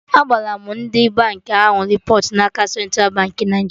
Agbara m ndị bank ahụ repọt n'aka Central Baankị Naijiria